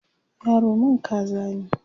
yaro man kaza ne?